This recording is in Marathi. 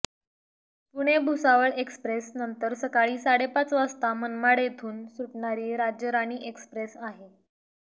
पुणे भुसावळ एक्स्प्रेस नंतर सकाळी साडेपाच वाजता मनमाड येथून सुटणारी राज्यराणी एक्सप्रेस आहे